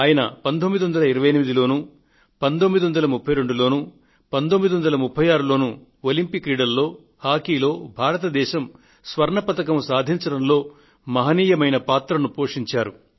ఆయన 1928 లోను 1932 లోను 1936 లోను ఒలంపిక్ క్రీడలలో హాకీలో భారత దేశం స్వర్ణ పతకం సాధించడంలో మహనీయమైన పాత్రను పోషించారు